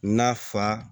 N'a fa